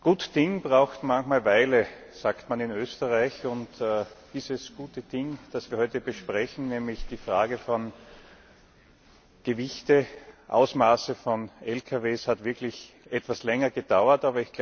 Gut Ding braucht manchmal Weile, sagt man in Österreich. Dieses gute Ding, das wir heute besprechen, nämlich die Frage von Gewichten und Ausmaßen von Lkws, hat wirklich etwas länger gedauert.